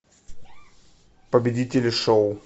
победители шоу